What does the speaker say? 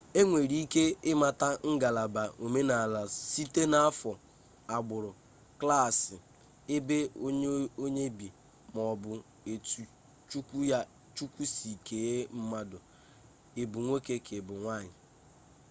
enwere ike imata ngalaba omenala site na afo agburu klaasi ebe onye bi ma o bu etu chukwu si kee mmadu i bu nwoke ka ibu nwanyi